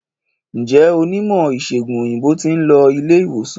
Njé Onímò ìsègùn òyìnbó tin lo ilé ìwòsan